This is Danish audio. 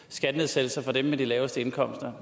skattenedsættelser for dem med de laveste indkomster